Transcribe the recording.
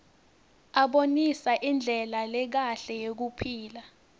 abonisa indlela lekahle yekuphila